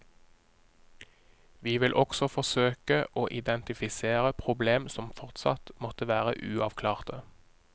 Vi vil også forsøke å identifisere problem som fortsatt måtte være uavklarte.